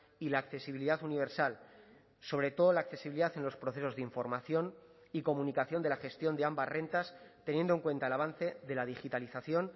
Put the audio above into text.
y la accesibilidad universal sobre todo la accesibilidad en los procesos de información y comunicación de la gestión de ambas rentas teniendo en cuenta el avance de la digitalización